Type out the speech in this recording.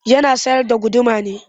Yana sayar da guduma ne?